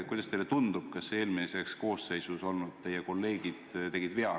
Kuidas teile tundub, kas eelmises koosseisus olnud teie kolleegid tegid vea?